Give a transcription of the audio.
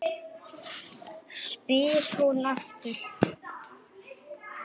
spyr hún aftur.